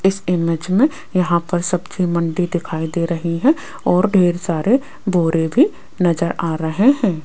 इस इमेज में यहां पर सब्जी मंडी दिखाई दे रही है और ढेर सारे बोरे भी नजर आ रहे हैं।